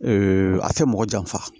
a tɛ mɔgɔ janfa